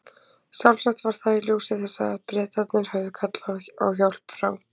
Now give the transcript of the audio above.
Sjálfsagt var það í ljósi þessa að Bretarnir höfðu kallað á hjálp frá